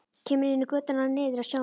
Kemur inn í götuna niður að sjónum.